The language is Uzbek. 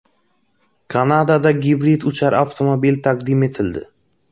Kanadada gibrid uchar avtomobil taqdim etildi .